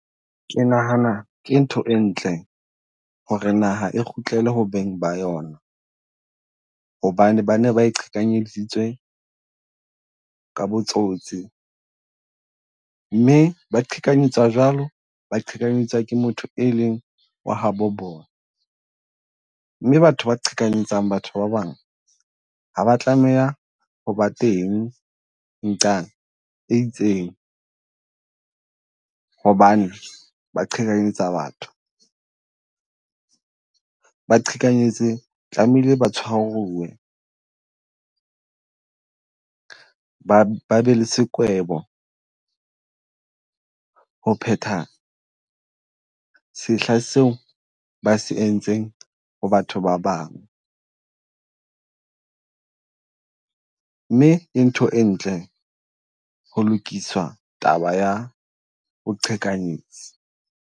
Ke nahana ke ntho e ntle ho re naha e kgutlele ho beng ba yona. Hobane ba ne ba e qhekanyeditswe ka botsotsi mme ba qhekanyetswa jwalo, ba qhekanyetswa ke motho e leng wa ha bo bona. Mme batho ba qhekanyetsang batho ba bang, ha ba tlameha ho ba teng e itseng. Hobane ba qhekanyetsa batho, ba qhekanyeditsi tlamehile ba tshwariwe, ba be le sekwebo ho phetha sehla seo ba se entseng ho batho ba bang. Mme ke ntho e ntle ho lokisa taba ya boqhekanyetsi.